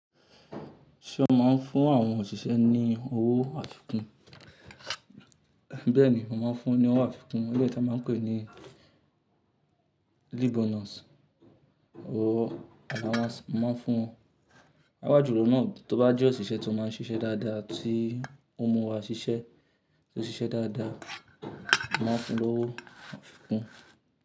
Ṣé o máa ń fún àwọn òṣìṣẹ́ ní owó àfikún? Bẹ́ẹ̀ni, mo máa ń fún wọn ní owó àfikún, eléyìí tán máa ń pè ní leave bonus or allowance. Mo máa ń fún won awájù lọ́nà tó bá jẹ́ òṣìṣẹ́ tó máa ń ṣiṣẹ́ dáadáa tí ó mú wá ṣiṣẹ́, tó ṣiṣẹ́ dáadáa, mo máa fún lówo àfikún.